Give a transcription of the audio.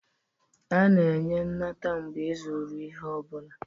A na-enye nnata mgbe ịzụrụ ihe ọ bụla